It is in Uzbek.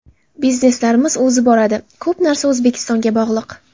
Bizneslarimiz o‘zi boradi… Ko‘p narsa O‘zbekistonga bog‘liq.